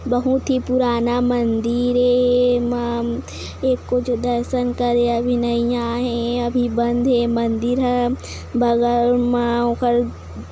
बहुत ही पुराना मंदीर हे एमा कुछ दर्शन करया बी नई आ हे अभी बंद हे मंदीर ह बगल मा ओखर--